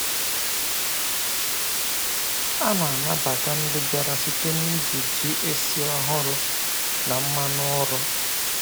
A na-anabata ndị bịara site n’iji ji esi ọhụrụ na mmanụ ụrọ.